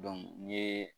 n ye